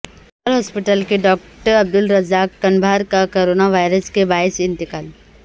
civil ہسپتال کے doctor Abdur Razzaq Kumbhar کا کرونا وائرس کے باعث انتقال